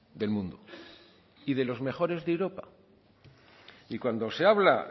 del mundo y de los mejores de europa y cuando se habla